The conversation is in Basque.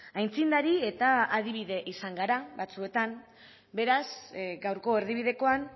aitzindari eta adibide izan gara batzuetan beraz gaurko erdibidekoan